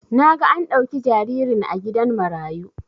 Naga an dauki jaririn a gidan marayu